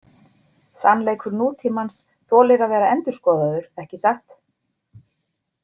Sannleikur nútímans þolir að vera endurskoðaður, ekki satt?